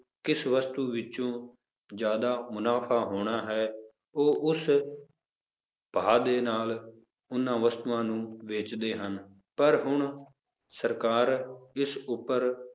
ਕਿਸ ਵਸਤੂ ਵਿੱਚੋਂ ਜ਼ਿਆਦਾ ਮੁਨਾਫ਼ਾ ਹੋਣਾ ਹੈ, ਉਹ ਉਸ ਭਾਅ ਦੇ ਨਾਲ ਉਹਨਾਂ ਵਸਤੂਆਂ ਨੂੰ ਵੇਚਦੇ ਹਨ, ਪਰ ਹੁਣ ਸਰਕਾਰ ਇਸ ਉੱਪਰ